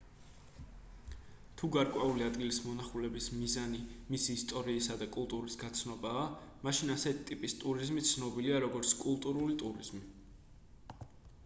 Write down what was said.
თუ გარკვეული ადგილის მონახულების მიზანი მისი ისტორიისა და კულტურის გაცნობაა მაშინ ასეთი ტიპის ტურიზმი ცნობილია როგორც კულტურული ტურიზმი